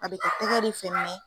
A be tɛgɛ de fɛ